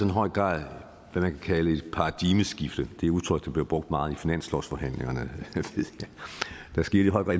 i høj grad hvad man kan kalde et paradigmeskift det er et udtryk der bliver brugt meget i finanslovsforhandlingerne der skete i høj grad